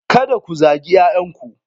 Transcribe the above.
Kada ku zagi 'ya'yanku.